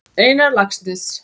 Einar Laxness.